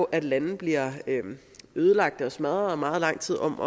at lande bliver ødelagt og smadret og er meget lang tid om